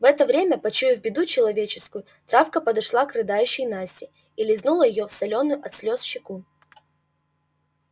в это время почуяв беду человеческую травка подошла к рыдающей насте и лизнула её в солёную от слез щеку